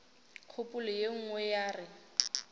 kgopolo ye nngwe ya re